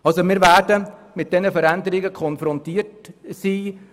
Wir werden mit diesen Veränderungen konfrontiert sein.